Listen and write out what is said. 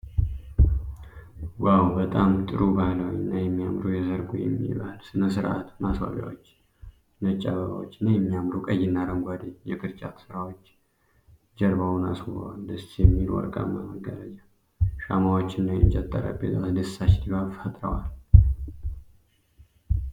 ዋው! በጣም ጥሩ ባህላዊ እና የሚያምሩ የሠርግ ወይም የባህል ሥነ ሥርዓት ማስዋቢያዎች። ነጭ አበባዎች እና የሚያማምሩ ቀይና አረንጓዴ የቅርጫት ሥራዎች ጀርባውን አስውበዋል። ደስ የሚል ወርቃማ መጋረጃ፣ ሻማዎችና የእንጨት ጠረጴዛ አስደሳች ድባብ ፈጥረዋል።